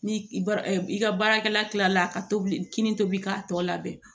Ni i ba i ka baarakɛla kila la ka tobi kinin tobi k'a tɔ labɛn